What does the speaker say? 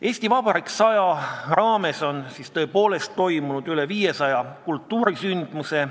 "Eesti Vabariik 100" raames on tõepoolest korraldatud üle 500 kultuuriürituse.